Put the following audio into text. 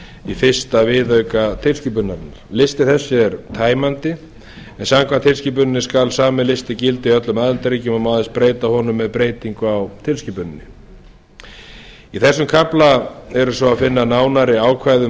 í fyrsta viðauka tilskipunarinnar listi þessi er tæmandi e b samkvæmt tilskipuninni skal sami listi gilda í öllum aðildarríkjunum og má aðeins breyta honum með breytingu á tilskipuninni í þessum kafla er svo að finna nánari ákvæði um